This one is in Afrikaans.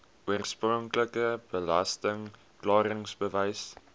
oorspronklike belasting klaringsbewys